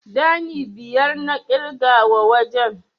Ɗani biyar na ƙirga wa wajen.